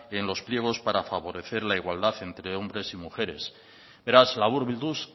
en los pliegos para favorecer la igualdad entre hombres y mujeres beraz laburbilduz